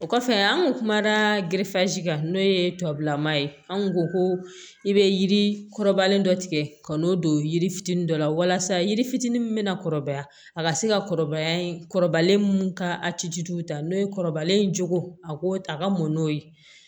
O kɔfɛ an kun kumana kan n'o ye tubabulama ye anw ko ko i bɛ yiri kɔrɔbalen dɔ tigɛ ka n'o don yiri fitinin dɔ la walasa yiri fitinin min bɛ na kɔrɔbaya a ka se ka kɔrɔbaya kɔrɔbalen minnu ka ta n'o ye kɔrɔbalen joona a ko a ka mɔn n'o ye